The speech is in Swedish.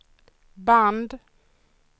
band